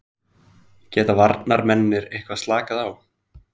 Geta varnarmennirnir eitthvað slakað á?